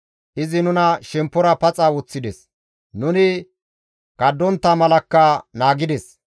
Izi nuna shemppora paxa woththides; nuni kundontta malakka naagides.